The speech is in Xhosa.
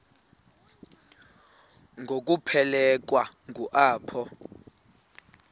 ngokuphelekwa ngu apho